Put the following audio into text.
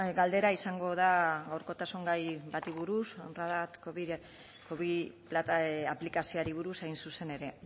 galdera izango da gaurkotasun gai bati buruz radar covid aplikazioari buruz hain zuzen ere